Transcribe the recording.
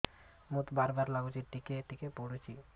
ମୁତ ବାର୍ ବାର୍ ଲାଗୁଚି ଟିକେ ଟିକେ ପୁଡୁଚି